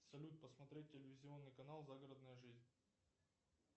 салют посмотреть телевизионный канал загородная жизнь